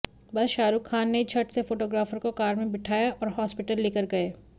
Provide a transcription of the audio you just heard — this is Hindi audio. बस शाहरुख खान ने झट से फोटोग्राफर को कार में बिठाया और हॉस्टिपटल लेकर गए